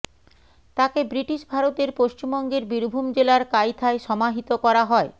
তাকে ব্রিটিশ ভারতের পশ্চিমবঙ্গের বীরভূম জেলার কাইথায় সমাহিত করা হয়